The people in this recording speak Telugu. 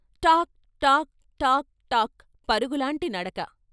" టాక్ టాక్ టాక్ టాక్ " పరుగు లాంటి నడక.